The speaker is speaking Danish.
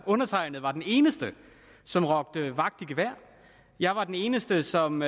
undertegnede var den eneste som råbte vagt i gevær jeg var den eneste som